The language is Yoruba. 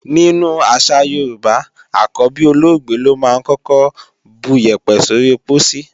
Nínú àṣà Yorùbá, àkọ́bí olóògbé lọ́ máa ń kọ́kọ́ buyẹ̀pẹ̀ sóri pósí.